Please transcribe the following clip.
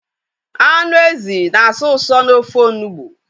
Anụ ezi na asọ usọ n'ofe onugbu